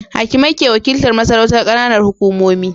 Hakimai ke wakiltar masarautar Kananan hukumomi